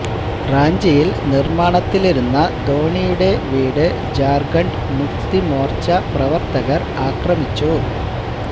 റാഞ്ചിയിൽ നിർമാണത്തിലിരുന്ന ധോനിയുടെ വീട് ജാർഖണ്ഡ് മുക്തി മോർച്ച പ്രവർത്തകർ ആക്രമിച്ചു